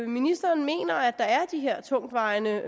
ministeren mener at der er de her tungtvejende